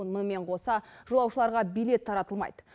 мұнымен қоса жолаушыларға билет таратылмайды